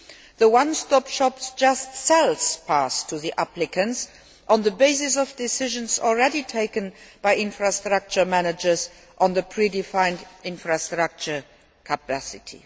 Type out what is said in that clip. The one stop shop just sells paths to applicants on the basis of decisions already taken by infrastructure managers on the predefined infrastructure capacity.